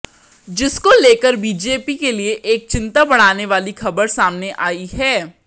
जिसको लेकर बीजेपी के लिए एक चिंता बढ़ाने वाली खबर सामने आई है